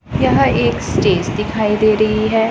यह एक स्टेज दिखाई दे रही है।